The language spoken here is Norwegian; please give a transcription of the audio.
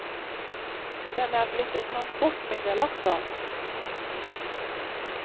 Den er blitt et transportmiddel også.